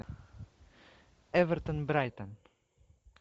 эвертон брайтон